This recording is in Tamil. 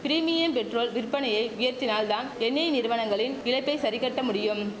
பிரிமியம் பெட்ரோல் விற்பனையை உயர்த்தினால் தான் எண்ணெய் நிறுவனங்களின் இழப்பை சரி கட்ட முடியும்